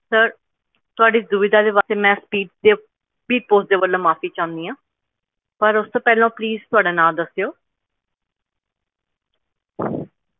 Sir ਤੁਹਾਡੀ ਇਸ ਦੁਵਿਧਾ ਦੇ ਵਾਸਤੇ ਮੈਂ speed ਦੇ speed post ਵੱਲੋਂ ਮਾਫ਼ੀ ਚਾਹੁੰਦੀ ਹਾਂ। ਪਰ ਉਸ ਤੋਂ ਪਹਿਲਾਂ Please ਤੁਹਾਡਾ ਨਾਂ ਦੱਸਿਓ